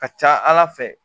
Ka ca ala fɛ